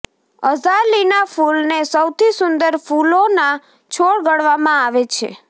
અઝાલીના ફૂલને સૌથી સુંદર ફૂલોના છોડ ગણવામાં આવે છે